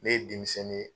Ne ye denmisɛnnin ye